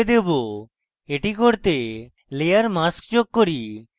এটি করতে আমি একটি layer mask যোগ করি